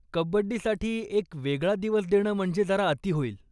कब्बडीसाठी एक वेगळा दिवस देणं म्हणजे जरा अती होईल.